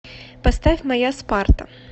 поставь моя спарта